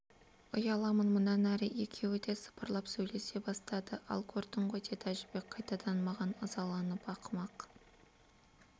ұяламын мұнан әрі екеуі де сыбырлап сөйлесе бастады ал көрдің ғой деді әжібек қайтадан маған ызаланып ақымақ